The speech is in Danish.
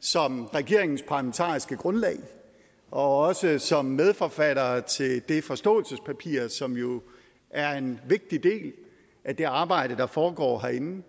som regeringens parlamentariske grundlag og også som medforfattere til det forståelsespapir som jo er en vigtig del af det arbejde der foregår herinde